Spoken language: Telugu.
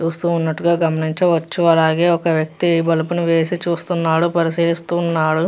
చూస్తూ ఉన్నట్టుగా గమనించవచ్చు అలాగే ఒక వ్యక్తి బల్బు ని వేసి చూస్తున్నాడు పరిశీలిస్తున్నాడు.